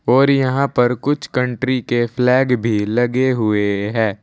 और यहां पर कुछ कंट्री के फ्लैग भी लगे हुए हैं।